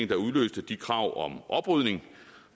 der udløste de krav om oprydning